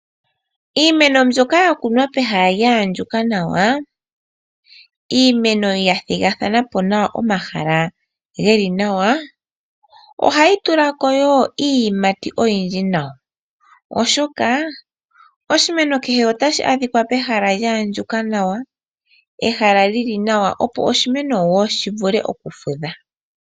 Iimeno mbyoka ya kunwa pehala lya andjuka nawa, iimeno ya thigathanapo nawa omahala geli nawa, ohayi tulako wo iiyimati oyindji nawa. Oshoka oshimeno kehe otashi adhikwa pehala lya andjuka nawa, ehala lyi li nawa opo oshimeno wo shi vule okufudha.